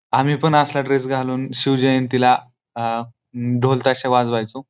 आम्ही पण असला ड्रेस घालून आ अम शिवजयंती ला ढोल ताशे वाजवायचो.